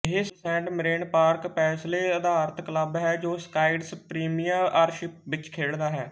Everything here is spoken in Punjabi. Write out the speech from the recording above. ਇਹ ਸੇਂਟ ਮਿਰੇਨ ਪਾਰਕ ਪੈਸਲੈ ਅਧਾਰਤ ਕਲੱਬ ਹੈ ਜੋ ਸਕਾਟਿਸ਼ ਪ੍ਰੀਮੀਅਰਸ਼ਿਪ ਵਿੱਚ ਖੇਡਦਾ ਹੈ